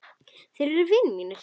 Þeir eru vinir mínir.